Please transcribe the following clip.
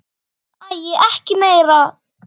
Æi, ekki meira!